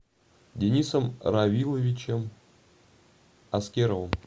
денисом равиловичем аскеровым